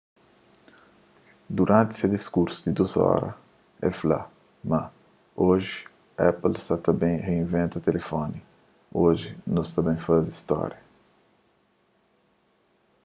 duranti se diskursu di 2 óra el fla ma oji apple sa ta ben rinventa tilifoni oji nu sa ta ben faze stória